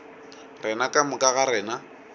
rena ka moka ga rena